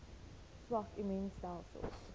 swak immuun stelsels